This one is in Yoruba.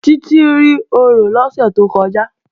Títí rí orò lọ́sẹ̀ tó kọjá